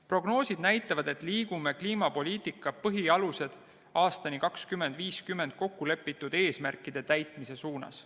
Prognoosid näitavad, et liigume dokumendis "Kliimapoliitika põhialused aastani 2050" kokkulepitud eesmärkide täitmise suunas.